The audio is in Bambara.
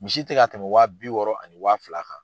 Misi tɛ ka tɛmɛ waa bi wɔɔrɔ ani waa fila kan.